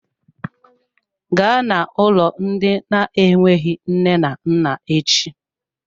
Gaa na-ụlọ ndị na-enweghị nne na nna echi!